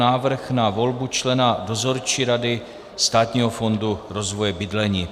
Návrh na volbu člena Dozorčí rady Státního fondu rozvoje bydlení